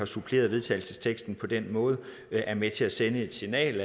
supplere vedtagelsesteksten på den måde er med til at sende et signal